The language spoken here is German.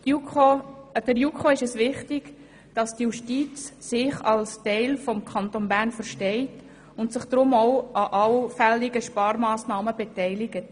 Der JuKo ist es wichtig, dass die Justiz sich als Teil des Kantons Bern versteht und sich deshalb auch an allfälligen Sparmassnahmen beteiligt.